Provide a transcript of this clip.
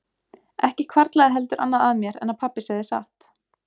Ekki hvarflaði heldur annað að mér en að pabbi segði satt.